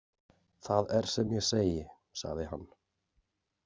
Það er sem ég segi, sagði hann.